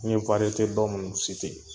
N ye ba minnu